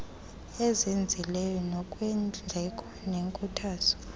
ezinzileyo ngokweendleko nekhuthaza